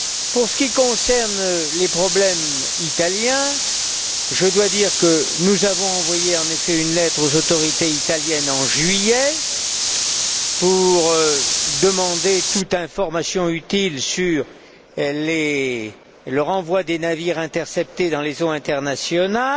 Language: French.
Pour ce qui concerne les problèmes italiens, je dois dire que nous avons envoyé une lettre aux autorités italiennes, en juillet, pour demander toute information utile sur le renvoi des navires interceptés dans les eaux internationales.